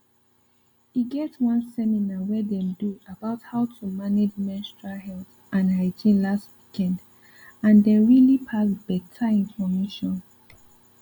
e get one seminar when them do about how to manage menstrual health and hygiene last weekand them really pass better information